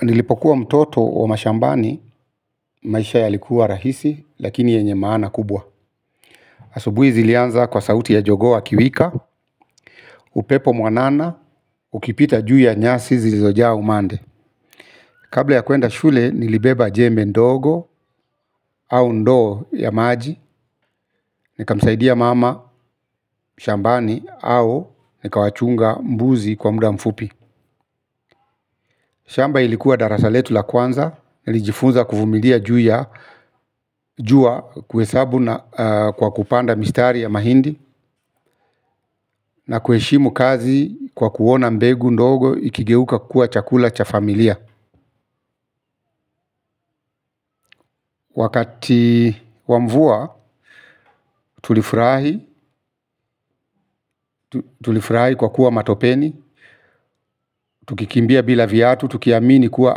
Nilipokuwa mtoto wa mashambani, maisha yalikuwa rahisi, lakini yenye maana kubwa. Asubuhi zilianza kwa sauti ya jogoo wakiwika, upepo mwanana, ukipita juu ya nyasi zizojaa umande. Kabla ya kuenda shule, nilibeba jembe ndogo, au ndoo ya maji, nikamsaidia mama, mashambani, au nikawachunga mbuzi kwa muda mfupi. Shamba ilikuwa darasa letu la kwanza, nilijifunza kuvumilia juu ya, jua kuhesabu na kwa kupanda mistari ya mahindi, na kuheshimu kazi kwa kuona mbegu ndogo ikigeuka kuwa chakula cha familia. Wakati wa mvua tulifurahi, tulifurahi kwa kuwa matopeni, tukikimbia bila viatu, tukiamini kuwa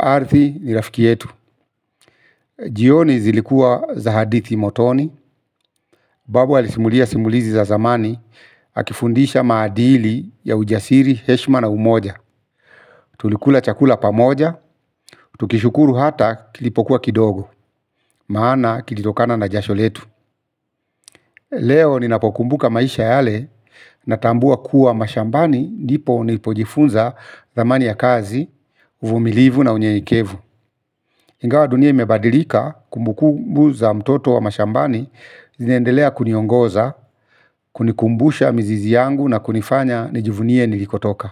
ardhi ni rafiki yetu. Jioni zilikua za hadithi motoni. Babu alisimulia simulizi za zamani. Akifundisha maadili ya ujasiri, heshima na umoja. Tulikula chakula pamoja. Tukishukuru hata kilipokuwa kidogo. Maana kilitokana na jasho letu. Leo ninapokumbuka maisha yale natambua kuwa mashambani ndipo nilipojifunza thamani ya kazi, uvumilivu na unyenyekevu. Ingawa dunia imebadilika kumbukumbu za mtoto wa mashambani. Zinaendelea kuniongoza, kunikumbusha mizizi yangu na kunifanya nijivunie nilikotoka.